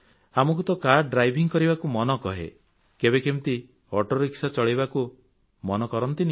କେବେ ଆମକୁ କାର ଚଳେଇବାକୁ ମନ କହେ ତ କେବେ କେମିତି ଅଟୋ ରିକ୍ସା ଚଳାଇବାକୁ ମନ କରେ